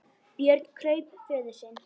Björn kraup föður sínum.